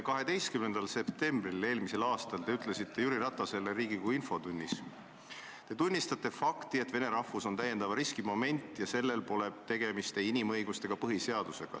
12. septembril eelmisel aastal te ütlesite Jüri Ratasele Riigikogu infotunnis: "Kas te tunnistate fakti, et vene rahvus on lisariski moment ja siin ei ole inimõigustega ega põhiseadusega midagi pistmist?